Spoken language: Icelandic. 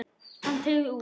Hann teygir úr sér.